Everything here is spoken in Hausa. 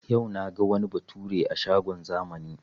Yau naga wani bature a shagon zamani